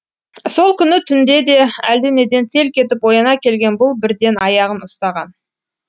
сол күні түнде де әлденеден селк етіп ояна келген бұл бірден аяғын ұстаған